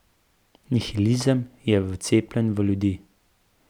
Nihilizem je vcepljen v ljudi.